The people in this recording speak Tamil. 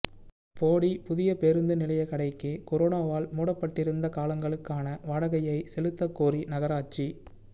போடி புதிய பேருந்து நிலைய கடைக்கு கரோனாவால் மூடப்பட்டிருந்த காலங்களுக்கான வாடகையைச் செலுத்தக்கோரி நகராட்சி